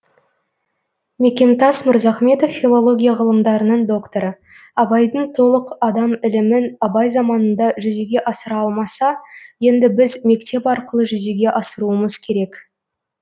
мекемтас мырзахметов филология ғылымдарының докторы абайдың толық адам ілімін абай заманында жүзеге асыра алмаса енді біз мектеп арқылы жүзеге асыруымыз керек